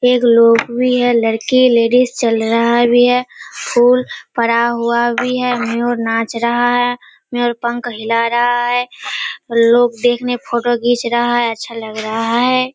एक लोग भी है लड़की लेडीज चल रहा भी है फूल पड़ा हुआ भी है मोर नाच रहा है मोर पंख हिला रहा है और लोग देखने फोटो खींच रहा है अच्छा लग रहा है।